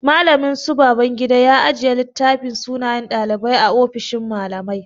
Mallamin su Babangida ya ajiye littafin sunayen ɗalibai a ofishin mallamai.